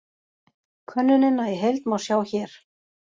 Könnunina í heild má sjá hér